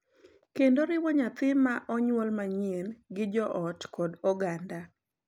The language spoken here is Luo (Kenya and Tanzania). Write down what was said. Kendo riwo nyathi ma onyuol manyien gi joot kod oganda.